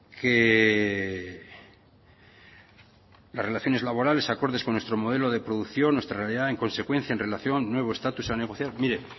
que las relaciones laborales acordes con nuestro modelo de producción nuestra realidad en consecuencia en relación nuevo estatus a negociar mire